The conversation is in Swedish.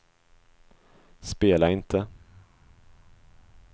spela inte